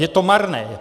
Je to marné.